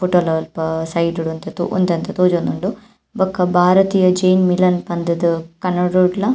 side ಡು ಒಂತೆ ಒಂತೆ ತೋಜೊಂದುಂಡು ಬೊಕ ಭಾರತೀಯ ಜೇನ್ ವಿಲನ್ ಪಂದ್ ಕನ್ನಡೊಡ್ಲ --